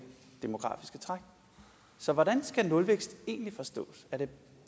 demografiske træk så hvordan skal nulvækst egentlig forstås er det